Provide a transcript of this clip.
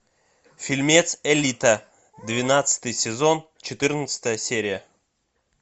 фильмец элита двенадцатый сезон четырнадцатая серия